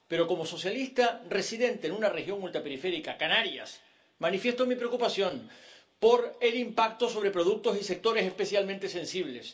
Pero como socialista residente en una región ultraperiférica, Canarias, manifiesto mi preocupación por el impacto sobre productos y sectores especialmente sensibles.